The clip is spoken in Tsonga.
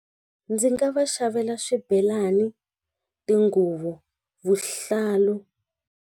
Ndzi nga va xavela swibelani, tinguvu, vuhlalu.